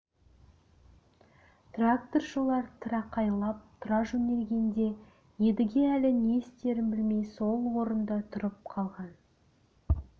тракторшылар тырақайлап тұра жөнелгенде едіге әлі не істерін білмей сол орында тұрып қалған